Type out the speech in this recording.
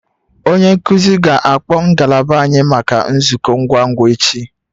Onye nkuzi ga-akpọ ngalaba anyị maka nzukọ ngwa ngwa echi